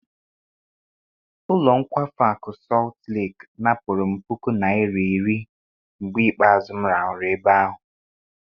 Ụlọ nkwafu akụ Sọt Leki napụrụ m puku naira iri mgbe ikpeazụ m rahụrụ ebe ahụ.